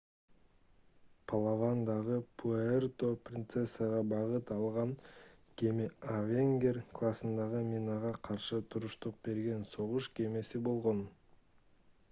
палавандагы пуэрто-принцессага багыт алган кеме avenger классындагы минага каршы туруштук берген согуш кемеси болгон